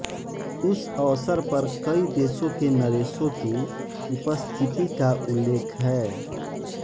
उस अवसर पर कई देशों के नरेशों की उपस्थिति का उल्लेख है